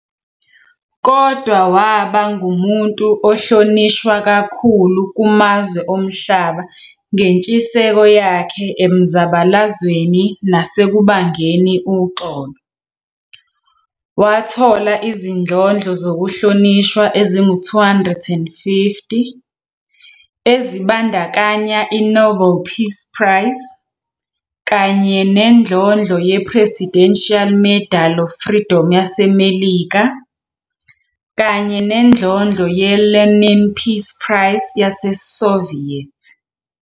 Kodwa waba ngumuntu ohlonishwa kakhulu kumazwe omhlaba ngentshiseko yakhe emzabalazweni nasekubangeni uxolo, wathola izindlondlo zokuhlonishwa ezingu 250, ezibandakanya i-Nobel Peace Prize, kanye nendlondlo yePresidential Medal of Freedom yaseMelika, kanye nendlondlo ye-Lenin Peace Prize yaseSoviet.